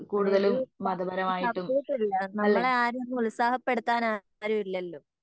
അതെ ഒരു സപ്പോർട്ടില്ല നമ്മളെ ആരും ഒന്ന് ഉത്സാഹപ്പെടുത്താൻ ആരും ഇല്ലാലോ